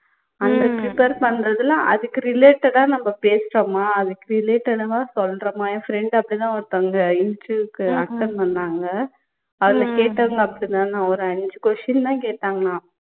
அந்த prepare பண்றதுல அதுக்கு related ஆ நம்ப பேசுறோமா அதுக்கு related ஆ சொல்லுறோமா என் friend அப்படித்தான் ஒருத்தவங்க interview க்கு attend பண்ணாங்க அதுல கேட்டவங்க அப்படித்தான் ஒரு அஞ்சு question தான் கேட்டாங்களாம்